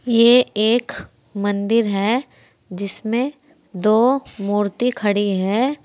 ये एक मंदिर है जिसमें दो मूर्ति खड़ी है।